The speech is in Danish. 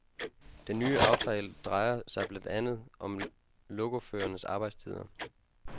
Den nye aftale drejer sig blandt andet om lokoførernes arbejdstider.